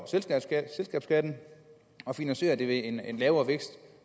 selskabsskatten og finansierer det ved en lavere vækst